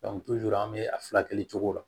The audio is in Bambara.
an bɛ a furakɛli cogo la